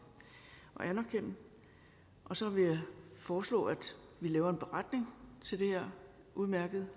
og anerkende og så vil jeg foreslå at vi laver en beretning til det her udmærkede